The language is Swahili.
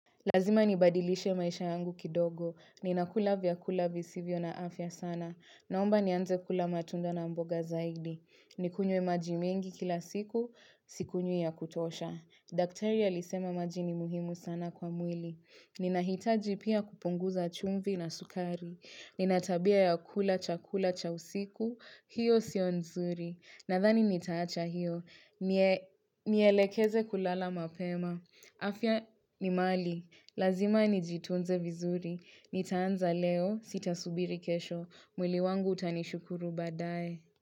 Lazima nibadilishe maisha yangu kidogo. Ninakula vyakula visivyo na afya sana. Naomba nianze kula matunda na mboga zaidi. Nikunywe maji mingi kila siku, sikunywi ya kutosha. Daktari alisema maji ni muhimu sana kwa mwili. Ninahitaji pia kupunguza chumvi na sukari. Nina tabia ya kula chakula cha usiku, hiyo sio nzuri. Nadhani nitaacha hiyo. Nielekeze kulala mapema. Afya ni mali. Lazima nijitunze vizuri, nitaanza leo, sitasubiri kesho, mwili wangu utanishukuru baadaye.